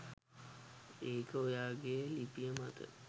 ඒක ඔයාගේ ලිපිය මත